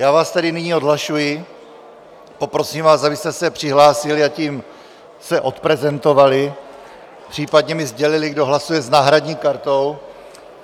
Já vás tedy nyní odhlašuji, poprosím vás, abyste se přihlásili a tím se odprezentovali, případně mi sdělili, kdo hlasuje s náhradní kartou.